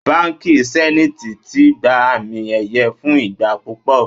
Báńkì sẹ́níìtì ti gba àmì ẹ̀yẹ fún ìgbà púpọ̀.